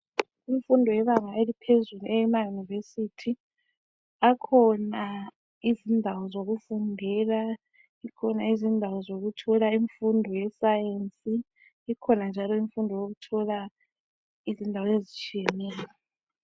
Imfundo yebanga eliphezulu eyamayunivesithi, akhona izindawo zokufundela, zikhona izindawo zokuthola imfundo yesayensi. Ikhona njalo imfundo yokuthola izindawo ezitshiyeneyo.